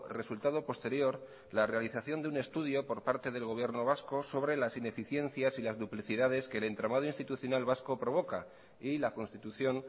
resultado posterior la realización de un estudio por parte del gobierno vasco sobre las ineficiencias y las duplicidades que el entramado institucional vasco provoca y la constitución